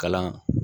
Kalan